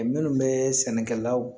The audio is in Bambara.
Minnu bɛ sɛnɛkɛlaw